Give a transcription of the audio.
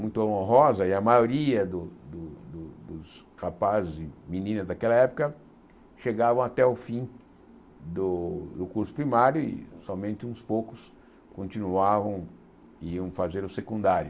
muito honrosa, e a maioria dos rapazes e meninas daquela época chegavam até o fim do curso primário e somente uns poucos continuavam e iam fazer o secundário.